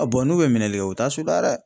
A bɔn n'u be minɛlikɛ u t'a suda dɛ.